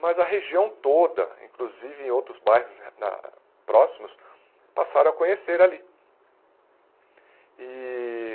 Mas a região toda, inclusive em outros bairros na próximos, passaram a conhecer ali. E